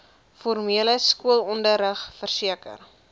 formele skoolonderrig verseker